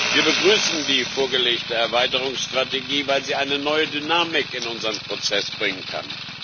Wir begrüßen die vorgelegte Erweiterungsstrategie, weil sie eine neue Dynamik in unseren Prozess bringen kann.